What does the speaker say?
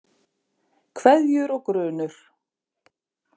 Kveðjur og grunur